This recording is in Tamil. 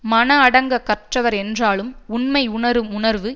மனம் அடங்கக் கற்றவர் என்றாலும் உண்மை உணரும் உணர்வு